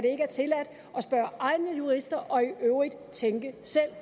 spørge egne jurister og i øvrigt tænke selv